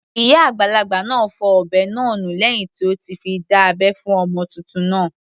Ìyá àgbàlagbà náà fọ ọ̀bẹ náà nù lẹ́hìn tí ó ti fi dá abẹ́ fún ọmọ titun náà.